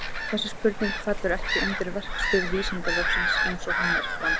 Þessi spurning fellur ekki undir verksvið Vísindavefsins eins og hún er fram sett.